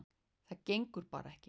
Það gengur bara ekki.